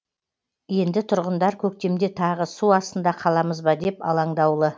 енді тұрғындар көктемде тағы су астында қаламыз ба деп алаңдаулы